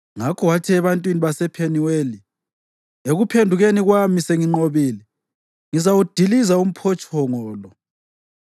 Ngakho wathi ebantwini basePheniweli, “Ekuphendukeni kwami senginqobile, ngizawudiliza umphotshongo lo.”